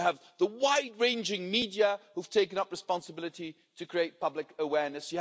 You have the wide ranging media, who have taken up responsibility to create public awareness.